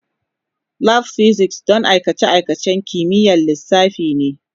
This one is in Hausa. Lab Physics don aikace-aikacen kimiyyar lissafi ne.